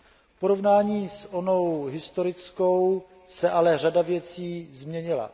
V porovnání s onou historickou se ale řada věcí změnila.